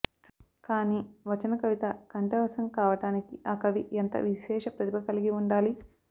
కానీ వచన కవిత కంఠవశం కావడానికి ఆ కవి ఎంత విశేష ప్రతిభ కలిగి ఉండాలి